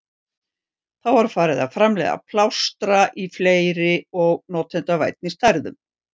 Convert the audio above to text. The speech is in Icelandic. Þá var farið að framleiða plástra í fleiri og notendavænni stærðum.